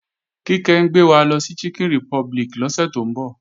Kíkẹ́ ń gbé wa lọ sí Chicken Republic lọ́sẹ̀ tó ń bọ̀